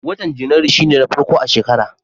Watan Janairu shi ne na farko a shekara.